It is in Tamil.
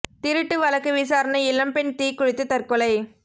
திருட்டு வழக்கு விசாரணை இளம் பெண் தீ குளித்து தற்கொலை